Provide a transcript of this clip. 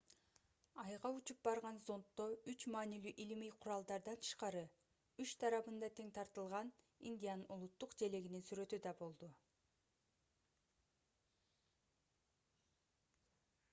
айга учуп барган зонддо үч маанилүү илимий куралдардан тышкары үч тарабында тең тартылган индиянын улуттук желегинин сүрөтү да болду